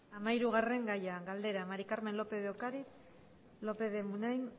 gai zerrendako hamahirugarren gaia galdera maría del carmen lópez de ocariz lópez de munain